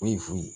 Foyi foyi